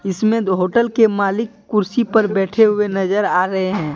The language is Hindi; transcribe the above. इसमें दो होटल के मालिक कुर्सी पर बैठे हुए नजर आ रहे हैं।